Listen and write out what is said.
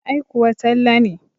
Ai kuwa Talle ne.